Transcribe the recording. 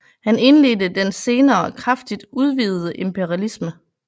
Han indledte den senere kraftigt udvidede imperialisme